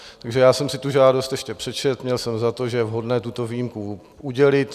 Takže já jsem si tu žádost ještě přečetl, měl jsem za to, že je vhodné tuto výjimku udělit.